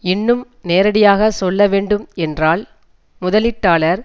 இன்னும் நேரடியாக சொல்ல வேண்டும் என்றால் முதலீட்டாளர்